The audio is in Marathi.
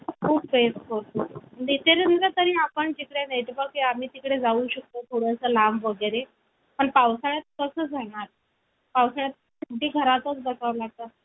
कारण तिच्या पूर्वजांपैकी कुणाला तरी ब्रिटिशांकडून बहादूर अशी पदवी मिळालेली होती. मी सामान्य रूपाचा लहानचणीचा आणि भावंडांपैकी एक होतो. माझी आई वडील दोघेही उंच देखणी होते.